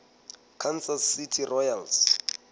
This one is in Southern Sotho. kansas city royals